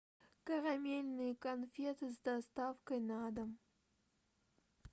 карамельные конфеты с доставкой на дом